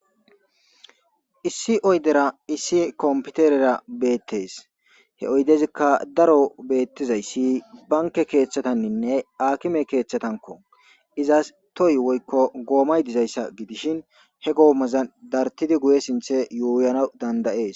issi oydera issi kompiterera beettees he oydezikka daro beettizayssi banke keeththatanninne aakime keeththatanko izas toyi woykko goomay dizayssa gidishin he goomaza dartidi guye sinthe yooyana danda'ees